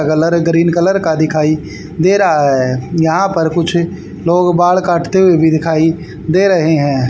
Colour green colour का दिखाई दे रहा है यहां पर कुछ लोग बाल काटते हुए भी दिखाई दे रहे हैं।